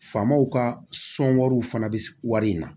Famaw ka sɔnwariw fana bɛ wari in na